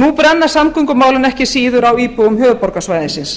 nú brenna samgöngumálin ekki síður á íbúum höfuðborgarsvæðisins